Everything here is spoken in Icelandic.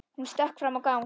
Hún stökk fram í gang.